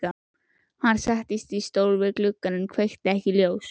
Hann settist í stól við gluggann en kveikti ekki ljós.